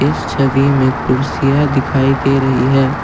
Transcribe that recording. इस छवि में कुर्सियां दिखाई दे रही हैं।